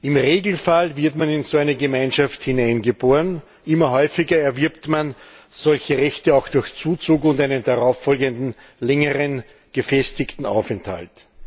Im Regelfall wird man in so eine Gemeinschaft hineingeboren, immer häufiger erwirbt man solche Rechte auch durch Zuzug und einen darauffolgenden längeren, gefestigten Aufenthalt.